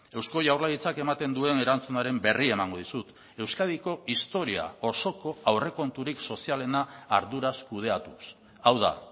eusko jaurlaritzak ematen duen erantzunaren berri emango dizut euskadiko historia osoko aurrekonturik sozialena arduraz kudeatuz hau da